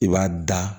I b'a da